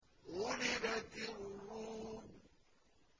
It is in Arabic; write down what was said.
غُلِبَتِ الرُّومُ